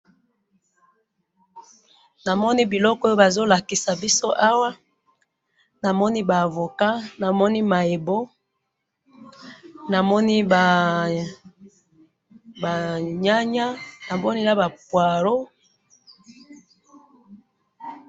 namoni biloko bazolakisa biso awa namoni ba avocat namoni mayebo namoni ba ba nyanya namoni naba poirreau